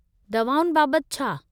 दवाउनि बाबतु छा ?